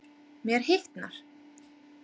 Mér hitnar.